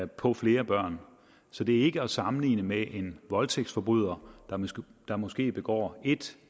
på flere børn så det er ikke at sammenligne med en voldtægtsforbryder der måske begår ét